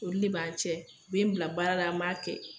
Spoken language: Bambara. Olu de b'an cɛ, be n bila baara la an b'a kɛ